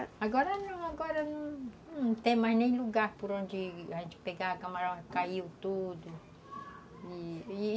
Agora não, agora não tem mais nem lugar por onde a gente pegava o camarão, caiu tudo. E, e